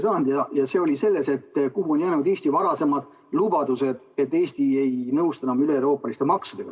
Küsimus oli selles, kuhu on jäänud Eesti varasemad lubadused, et Eesti ei nõustu enam üleeuroopaliste maksudega.